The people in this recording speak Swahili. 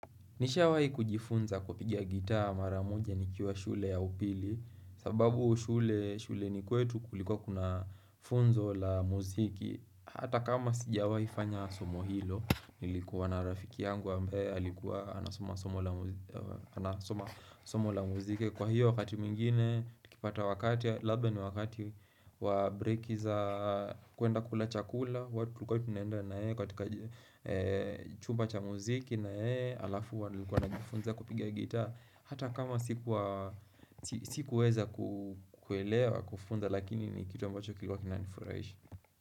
Nisha wahi kujifunza kupiga gitaa mara moja nikiwa shule ya upili sababu shuleni kwetu kulikuwa kuna funzo la muziki Hata kama sijawai fanya somo hilo Nilikuwa na rafiki yangu ambaye alikuwa anasoma somo la muzike Kwa hiyo wakati mwingine nikipata wakati Labda ni wakati wa breki za kuenda kula chakula Chumba cha muziki na yeye Alafu alikuwa ananifunza kupiga gita Hata kama sikuweza kuelewa kufunzwa Lakini ni kitu ambacho kiliuwa kinaniifuraisha.